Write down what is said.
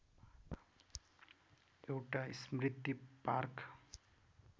एउटा स्मृति पार्क